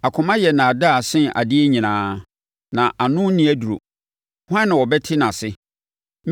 Akoma yɛ nnaadaa sen adeɛ nyinaa na ano nni aduro. Hwan na ɔbɛte nʼase?